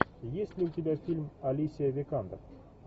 есть ли у тебя фильм алисия викандер